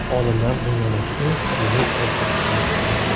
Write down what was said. Olimlar dunyodagi eng qadimiy ertakni aniqladi.